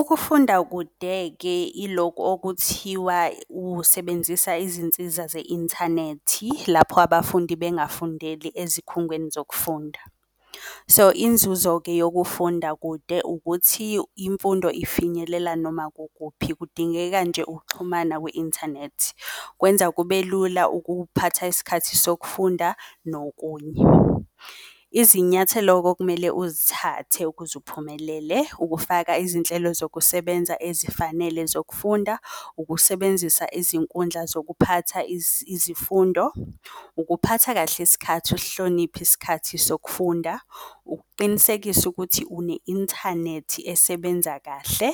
Ukufunda kude-ke iloku okuthiwa usebenzisa izinsiza ze-inthanethi, lapho abafundi bengafundeli ezikhungweni zokufunda. So inzuzo-ke yokufunda kude ukuthi imfundo ifinyelela noma kukuphi, kudingeka nje ukuxhumana kwi-inthanethi. Kwenza kube lula ukuphatha isikhathi sokufunda nokunye. Izinyathelo-ke okumele uzithathe ukuze uphumelele, ukufaka izinhlelo zokusebenza ezifanele zokufunda, ukusebenzisa izinkundla zokuphatha izifundo, ukuphatha kahle isikhathi, usihloniphe isikhathi sokufunda, ukuqinisekisa ukuthi une-inthanethi esebenza kahle,